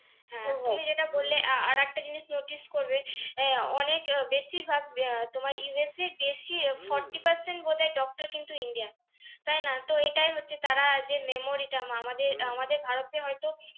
হ্যাঁ, তুমি যেটা বললে আর একটা জিনিস notice করবে আহ অনেক বেশির ভাগ আহ তোমার USA এ বেশি forty percent বোধহয় doctor কিন্তু India র তাই না তো এটাই হচ্ছে তারা যে memory টা, আমাদের আমাদের ভারতে হয়তো